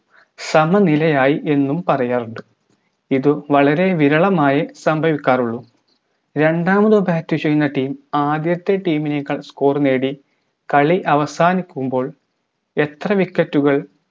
സമനിലയായി എന്നും പറയാറുണ്ട് ഇതും വളരെ വിരളമായേ സംഭവിക്കാറുള്ളു രണ്ടാമതു bat ചെയ്യുന്ന team ആദ്യത്തെ team നെക്കാൾ score നേടി കളി അവസാനിക്കുമ്പോൾ എത്ര wicket കൾ